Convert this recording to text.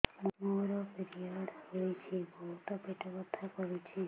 ମୋର ପିରିଅଡ଼ ହୋଇଛି ବହୁତ ପେଟ ବଥା କରୁଛି